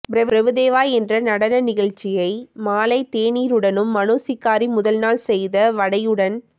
பிரபுதேவா என்ற நடன நிகழ்ச்சியை மாலைத் தேனீருடனும் மனுசிக்காரி முதன்நாள் செய்த வடையுடன்